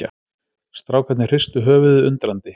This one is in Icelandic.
Strákarnir hristu höfuðið undrandi.